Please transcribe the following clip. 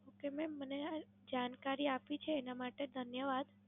Okay ma'am, મને જાણકારી આપી છે એના માટે ધન્યવાદ.